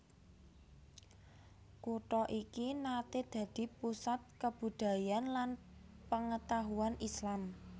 Kutha iki naté dadi pusat kabudhayan lan pangetahuan Islam